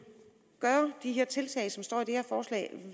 gøre de tiltag som står i det her forslag